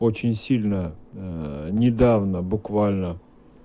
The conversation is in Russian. очень сильно недавно буквально